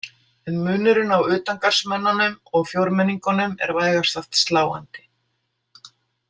En munurinn á utangarðsmönnunum og fjórmenningunum er vægast sagt sláandi.